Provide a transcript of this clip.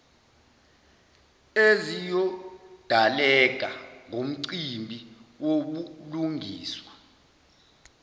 eziyodaleka ngomcimbi wobulungiswa